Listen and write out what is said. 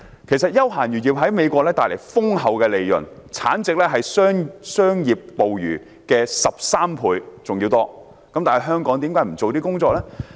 其實，休閒漁業在美國帶來豐厚利潤，產值是商業捕魚的13倍多，但為何香港不做此方面的工夫？